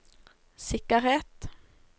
sikkerhet